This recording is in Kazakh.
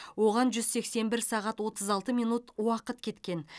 оған жүз сексен бір сағат отыз алты минут уақыт кеткен